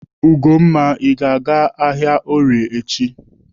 Ugomma, Ị ga-aga ahịa Orie echi?